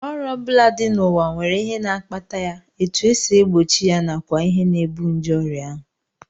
Ọrịa ọ bụla dị n'ụwa nwere ihe na-akpata ya, etu e si egbochi ya nakwa ihe na-ebu nje ọrịa ahụ